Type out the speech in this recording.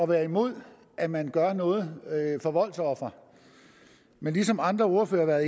være imod at man gør noget for voldsofre men som andre ordførere har